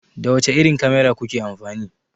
Da wace irin kamera kuke amfani?